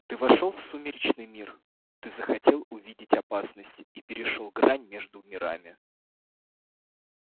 ты вошёл в сумеречный мир ты захотел увидеть опасность и перешёл грань между мирами